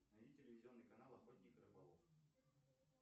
найди телевизионный канал охотник и рыболов